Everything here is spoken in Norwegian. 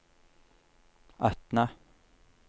Atna